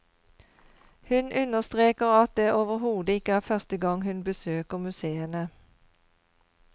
Hun understreker at det overhodet ikke er første gang hun besøker museene.